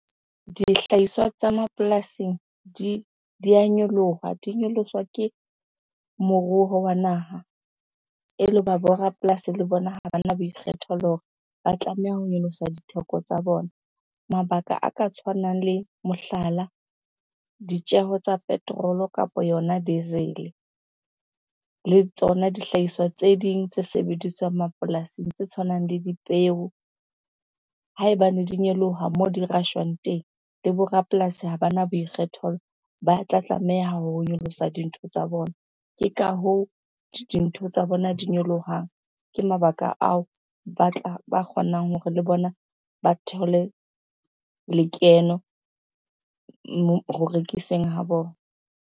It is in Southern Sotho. Dihlahiswa tsa mapolasing di a nyoloha, di nyoloswa ke moruo wa naha ele hoba bo rapolasi le bona ha bana boikgethelo hore ba tlameha ho nyolosa ditheko tsa bona. Mabaka a ka tshwanang le mohlala, ditjeho tsa petrol-o kapa yona diesel-e le tsona dihlahiswa tse ding tse sebediswang mapolasing tse tshwanang le dipeo. Haebane di nyoloha moo di rashwang teng, le bo rapolasi ha bana boikgethelo ba tla tlameha ho nyolosa dintho tsa bona. Ke ka hoo dintho tsa bona di nyolohang, ke mabaka ao ba tla ba kgonang hore le bona ba thole lekeno ho rekiseng ha bona.